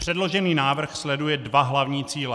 Předložený návrh sleduje dva hlavní cíle.